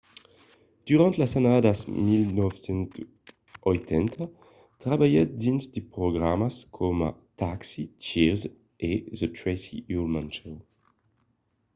durant las annadas 1980 trabalhèt dins de programas coma taxi cheers e the tracy ullman show